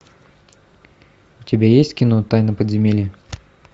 у тебя есть кино тайна подземелья